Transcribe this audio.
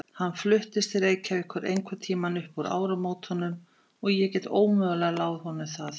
Hann fluttist til Reykjavíkur einhverntíma upp úr áramótunum og ég get ómögulega láð honum það.